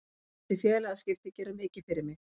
Þessi félagaskipti gera mikið fyrir mig.